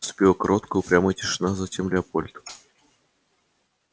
наступила короткая упрямая тишина а затем лепольд сказал